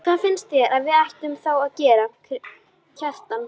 Hvað finnst þér að við ættum þá að gera, Kjartan?